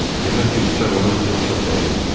Demək ki, bıçaq onun üçün çox dəyərliymiş.